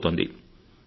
పెరిగిపోతోంది